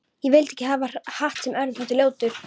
Ég vildi ekki hafa hatt sem öðrum þótti ljótur.